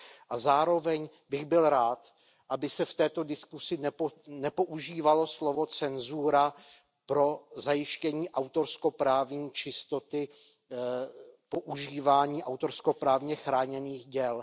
A zároveň bych byl rád, aby se v této diskusi nepoužívalo slovo cenzura pro zajištění autorskoprávní čistoty používání autorskoprávně chráněných děl.